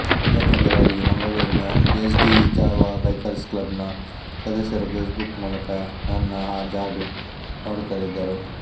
ಯಾಕೆಂದರೆ ಅಲ್ಲಿ ಮಂಗಳೂರಿನ ಯೆಜ್ಡಿ ಜಾವಾ ಬೈಕರ್ಸ್ ಕ್ಲಬ್ನ ಸದಸ್ಯರು ಫೇಸ್ಬುಕ್ ಮೂಲಕ ನನ್ನ ಜಾಡು ನೋಡುತ್ತಲೇ ಇದ್ದರು